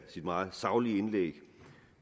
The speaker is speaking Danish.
meget saglige indlæg